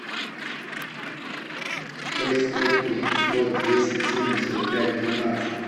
шесть сто три сто десять семьдесят пять двенадцать